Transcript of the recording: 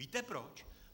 Víte proč?